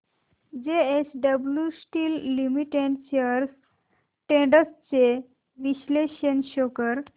JSW steel limited shares trends चे विश्लेषण show कर